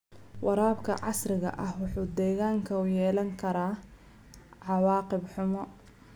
Waraabka casriga ahi wuxuu deegaanka u yeelan karaa cawaaqib xumo.